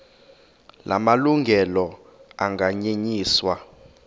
la malungelo anganyenyiswa